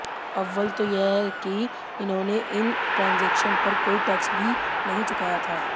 अव्वल तो यह कि इन्होंने इन ट्रांजैक्शंस पर कोई टैक्स भी नहीं चुकाया था